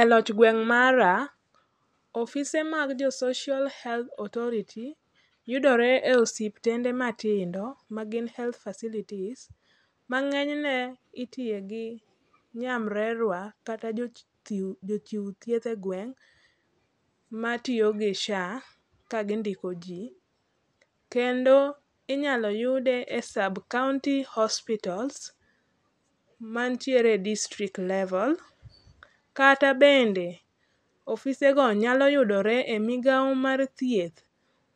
Eloch gweng' mara, ofise mag jo Social Health Authority (SHA) yudore e osiptende matindo, magin heath facilities ma ng'enyne itiye gi nyamrerua, kata jochiw thieth egweng' matiyo gi SHA kagindiko ji. Kendo inyalo yude sub county hospital , mantiere e distrikt level kata bende ofisego nyalo yudore e migao mar thieth